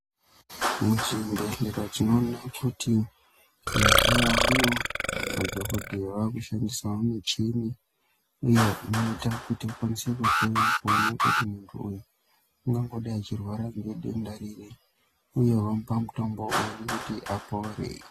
Muchibhehlera tinoona kuti mazuvaano madhokotera ave kushandisa michini iyo inoita kuti ikwanise kuhloya kuona kuti munthu uyu ungangodai achirwara ngedenda riri uye vangamupa mutombo uri kuti apore.